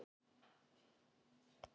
Þær bjuggu í París í mörg ár.